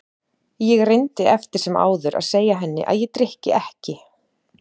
Ég reyndi eftir sem áður að segja henni að ég drykki ekki.